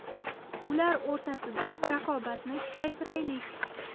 Ular o‘rtasida raqobatni kuchaytiraylik.